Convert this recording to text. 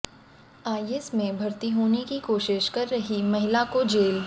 IS में भर्ती होने की कोशिश कर रही महिला को जेल